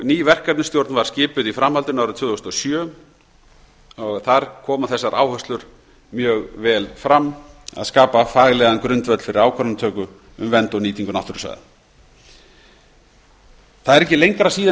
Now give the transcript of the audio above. ný verkefnisstjórn var skipuð í framhaldinu árið tvö þúsund og sjö þar komu þessar áherslur mjög vel fram að skapa faglegan grundvöll fyrir ákvarðanatöku um vernd og nýtingu náttúrusvæða það er ekki lengra síðan